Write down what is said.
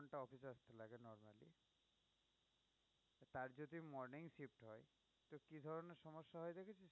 আর যদি morning shift হয় তো কি ধরনের সমস্যা হয় দেখেছিস?